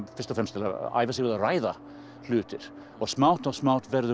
fyrst og fremst til að æfa sig að ræða hluti og smátt og smátt verður